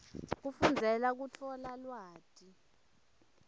kufundzela kutfola lwati